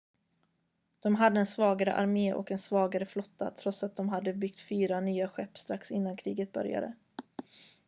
de hade en svagare armé och en svagare flotta trots att de hade byggt fyra nya skepp strax innan kriget började